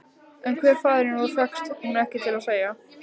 En hver faðirinn var fékkst hún ekki til að segja.